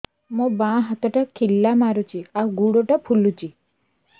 ମୋ ବାଆଁ ହାତଟା ଖିଲା ମାରୁଚି ଆଉ ଗୁଡ଼ ଟା ଫୁଲୁଚି